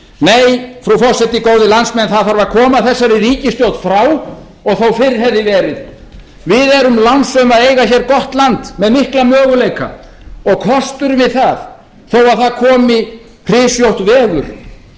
nei frú forseti góðir landsmenn það þarf að koma þessari ríkisstjórn frá og þó fyrr hefði verið við erum lánsöm að eiga hér gott land með mikla möguleika og kosturinn við það þó að það komi rysjótt veður